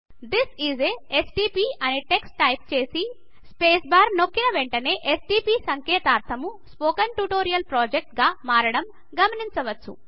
this is a STP అని text చేసి space bar నొక్కిన వెంటనే ఎస్టీపీ సంకేతాక్షరము స్పోకెన్ ట్యూటోరియల్ ప్రొజెక్ట్ గా మారడం గమనించవచ్చు